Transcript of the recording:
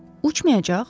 Uçmayacaq?